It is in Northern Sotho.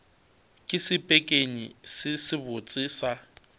ke sepekenyi se sebotse sa